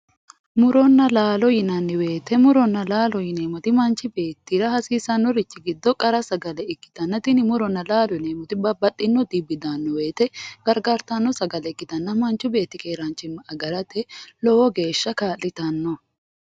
muronna laalo yinanni wote mittu manchi beettira hasiissannorichi giddo qara sagale ikkitanna tini muronna laalote yineemmoti babbaxino xibbi daanno wote gargartanno sagale ikkitanna manchi beetti keeraanchimma agarate lowo geeshsha kaa'litanno.